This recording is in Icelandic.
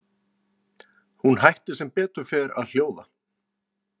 Hún hætti sem betur fer að hljóða.